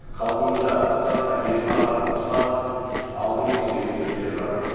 халқымызда ұстаз тәрбиесін алған ұстаз алдын көрген деген сөздері бар